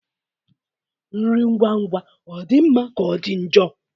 Nri ngwa ngwa ọ dị mma ka ọ dị njọ?